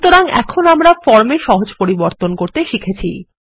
সুতরাং এখন আমরা ফর্ম এ সহজ পরিবর্তন করতে শিখেছি